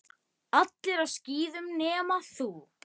Allir á skíðum nema þú.